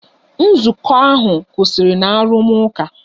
Nzukọ ahụ kwụsịrị na arụmụka.